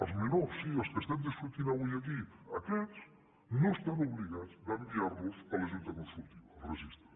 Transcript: els menors sí els que estem discutint avui aquí aquests no estan obligats d’enviarlos a la junta consultiva al registre